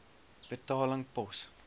betaling pos